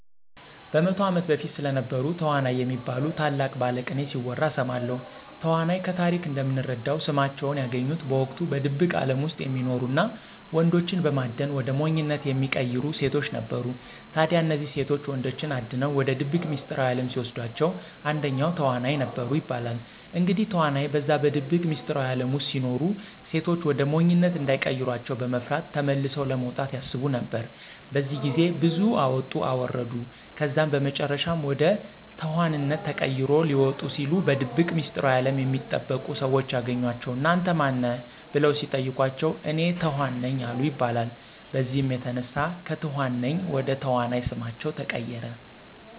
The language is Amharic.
በ100 ዓመት በፊት ስለነበሩ ተዋናይ የሚባሉ ታላቅ ባለቅኔ ሲወራ እሰማለሁ። ተዋናይ ከታሪክ እንደምንረዳው ስማቸውን ያገኙት በወቅቱ በድብቅ አለም ውስጥ የሚኖሩ እና ወንዶችን በማደን ወደ ሞኝነት የሚቀይሩ ሴቶች ነበሩ። ታዲያ እነዚህ ሴቶች ወንዶችን አድነው ወደ ድብቅ ሚስጥራዊ አለም ሲወስዷቸዉ አንደኛው ተዋናይ ነበሩ ይባላል። እንግዲህ ተዋናይ በዛ በድብቅ ሚስጥራዊ አለም ውስጥ ሲኖሩ ሴቶች ወደ ሞኝነት እንዳይቀሯቸው በመፍራት ተመልሰው ለመውጣት ያስቡ ነበር። በዚህ ግዜ ብዙ አወጡ አወረዱ ከዛም በመጨረሻም ወደ ተኋንነት ተቀይሮ ሊወጡ ሲሉ በድብቅ ሚስጥራዊ አለም የሚጠበቁ ሰዎች ያገኟቸው እና አንተ ማን ነህ? በለው ሲጠይቋቸው፤ እኔ ተኋን ነኝ አሉ ይባላል። በዚህም የተነሳ ከትኋን ነኝ ወደ ተዋናይ ስማቸው ተቀየረ።